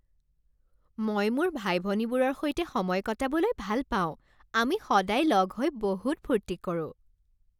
মই মোৰ ভাই ভনীবোৰৰ সৈতে সময় কটাবলৈ ভাল পাওঁ। আমি সদায় লগ হৈ বহুত ফূৰ্তি কৰোঁ।